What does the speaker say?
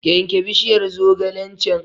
Yanke bishiyar zogalen can!